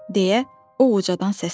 deyə o uca səsləndi.